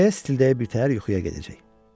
Stildəyə-stildəyə bir təhər yuxuya gedəcək.